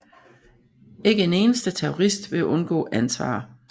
Ikke en eneste terrorist vil undgå ansvar